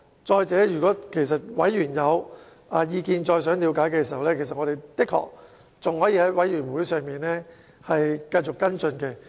再者，如果委員想再了解更多，我們的確還可以在聯合小組委員會上繼續跟進。